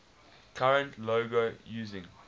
current logo using